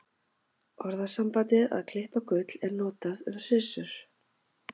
Orðasambandið að klippa gull er notað um hryssur.